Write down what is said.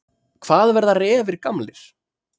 Hvað verða refir gamlir?